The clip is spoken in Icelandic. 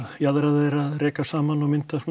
jaðrar þeirra að rekast saman og mynda svona